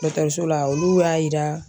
Dɔgɔtɔrɔso la olu y'a jira